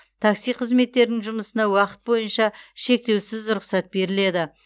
такси қызметтерінің жұмысына уақыт бойынша шектеусіз рұқсат беріледі